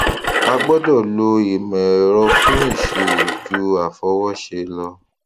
a gbọdọ lo ìmò èrọ fún iṣirò ju àfọwọ ṣe lọ